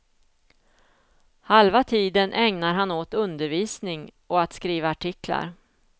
Halva tiden ägnar han åt undervisning och att skriva artiklar.